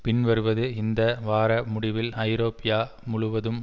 பின் வருவது இந்த வார முடிவில் ஐரோப்பியா முழுவதும்